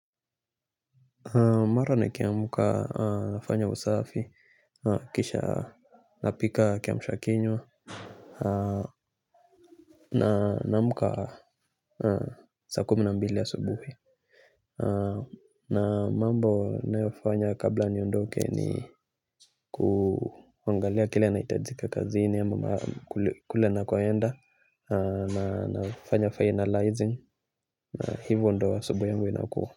Mara nikiamka nafanya usafi kisha napika kiamsha kinywa. Naamka saa kumi na mbili asubuhi. Na mambo nayofanya kabla niondoke ni kuangalia kile yanahitajika kazini ama kule nakoenda na nafanya finalizing hivyo ndo asubuhi yangu inakuwa.